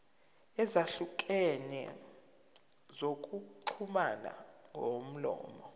ezahlukene zokuxhumana ngomlomo